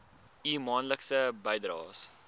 u maandelikse bydraes